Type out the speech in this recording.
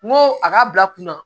N ko a ka bila kunna